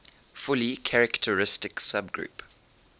fully characteristic subgroup